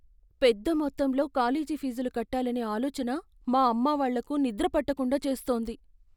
పెద్ద మొత్తంలో కాలేజీ ఫీజులు కట్టాలనే ఆలోచన మా అమ్మావాళ్ళకు నిద్రపట్టకుండా చేస్తోంది.